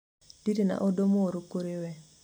ndire na ũndũ mũru kũrĩ we